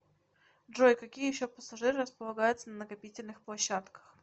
джой какие еще пассажиры располагаются на накопительных площадках